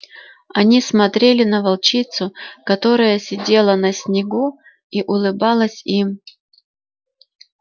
они смотрели на волчицу которая сидела на снегу и улыбалась им